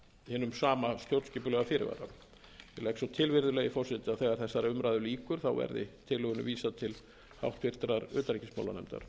hinum stjórnskipulega fyrirvara ég legg svo til virðulegi forseti að þegar þessari umræðu lýkur verði tillögunni vísað til háttvirtrar utanríkismálanefndar